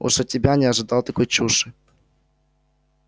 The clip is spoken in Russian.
уж от тебя не ожидал такой чуши